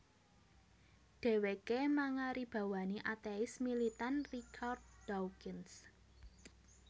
Dhèwèké mangaribawani atéis militan Richard Dawkins